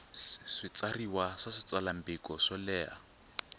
switshuriwa swa switsalwambiko swo leha